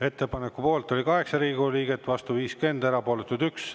Ettepaneku poolt oli 8 Riigikogu liiget, vastu 50, erapooletuid 1.